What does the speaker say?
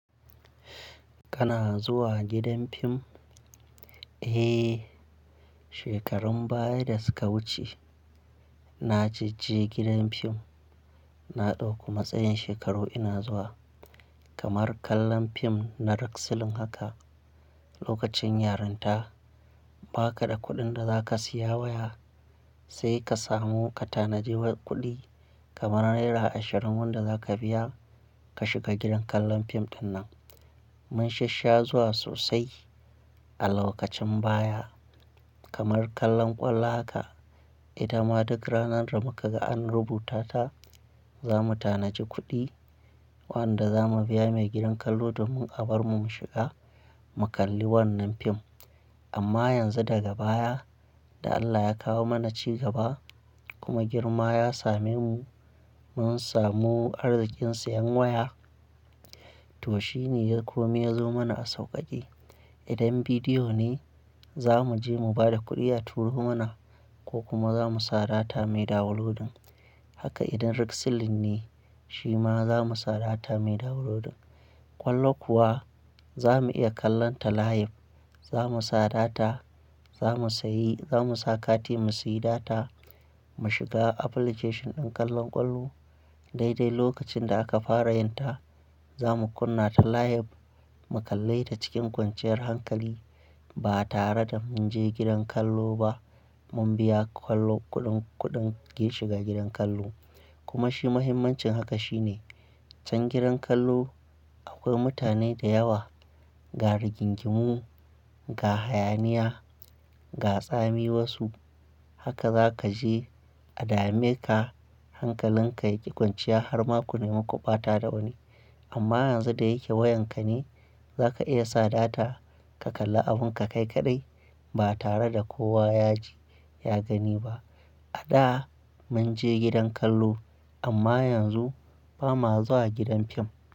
Kana zuwa gidan fim? Eh, shekarun baya da suka wuce na jajje gidan fim. Na ɗauku matsayin shekaru ina zuwa. Kamar kallon fim na rak silin haka lokacin yarinta, baka da kuɗin da zaka siya waya, sai ka samu ka tanadi kuɗi kamar naira ashirin wanda zaka biya ka shiga gidan kallon fim ɗinnan. Mun shassha zuwa sosai a lokacin baya kamar kallon kwallo haka. Idan ma duk ranar damukaga ana rubuta ta, za mu tanaji kuɗi wanda za mu biya mai gidan kallo domin a bar mu mu shiga mu kalli wannan fim. Amma yanzu daga baya da Allah ya kawo mana cigaba kuma girma ya same mu mun samu arzikin siyan waya, to shine ya kome yazo mana a sauƙaƙe. Idan bidiyo ne za mu je mu ba da kuɗi a turo mana ko kuma za mu sa data mai downodin. Haka idan rak silin ne shi ma za mu sa data mai downlodin. Kwallo kuwa za mu iya kallonta live. Za mu sa data za mu sayi, za mu sa kati mu sayi data mu shiga application ɗin kallon kwallo. Daidai lokacin da aka fara yinta, za mu kunna ta live mu kalle ta cikin kwanciyar hankali ba tare da mun je gidan kallo ba. Mun biya kwallo kuɗin, kuɗin ke shiga gidan kallo kuma shi mahimmancin haka shine can gidan kallo akwai mutane da yawa, ga rigingimu, ga hayaniya, ga tsami wasu. Haka za ka je a dame ka hankalin ka ya ƙi kwanciya har maku ne mi ku ɓata da wani. Amma yanzu da yake wayan ka ne za ka iya sa data ka kalla abun ka kai kaɗai ba tare da kowa ya je ya gani ba. A da mun je gidan kallo amma yanzu ba ma zuwa gidan fim.